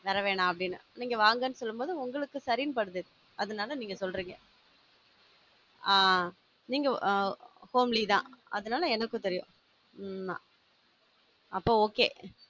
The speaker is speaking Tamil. வர வேணாம் அப்படின்னு நீங்க வாங்கனு சொல்லும் போதுதா உங்களுக்கு சரின்னு படுது அதுனால நீங்க சொல்றிங்க ஆஹ் நீங்க ஆம் family தான் அதனால எனக்கு தெரியும் உம் அப்போ okay